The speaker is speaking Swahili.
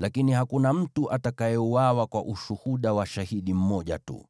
Lakini hakuna mtu atakayeuawa kwa ushuhuda wa shahidi mmoja tu.